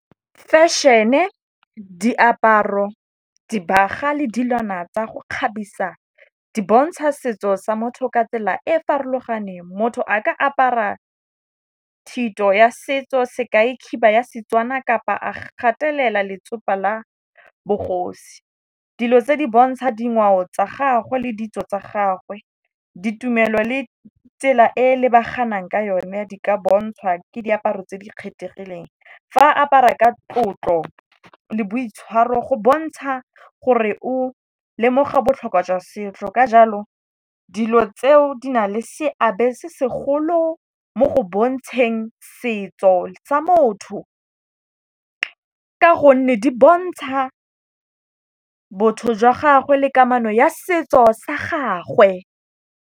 Fešhene, diaparo, dibaga le dilwana tsa go kgabisa di bontsha setso sa motho ka tsela e farologaneng. Motho a ka apara thito ya setso, sekai khiba ya Setswana kapa a gatelela letsopa la bogosi. Dilo tse di bontsha dingwao tsa gagwe le ditso tsa gagwe. Ditumelo le tsela e lebaganang ka yone di ka bontshwa ke diaparo tse di kgethegileng. Fa a apara ka tlotlo le boitshwaro go bontsha gore o lemoga botlhokwa jwa setso. Ka jalo dilo tseo di na le seabe se segolo mo go bontsheng setso sa motho, ka gonne di bontsha botho jwa gagwe le kamano ya setso sa gagwe.